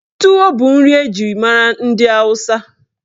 Tuwo bụ nri eji mara ndị Awụsa.